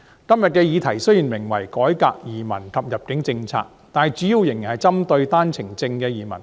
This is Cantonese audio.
今天的議題雖然名為"改革移民及入境政策"，但主要仍然是針對單程證移民。